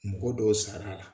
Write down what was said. Mɔgɔ dɔw sar'ala